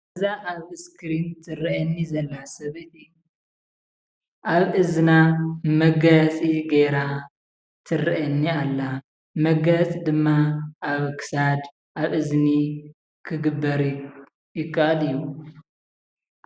እዛ ኣብ እስክሪን ትራኣየኒ ዘላ ሰበይቲ ኣብ እዝና መጋየፂ ጌራ ትርኣየኒ ኣላ መጋየፂ ድማ ኣብ ክሳድ፣ ኣብ እዝኒ ክግበር ይከኣል እዩ።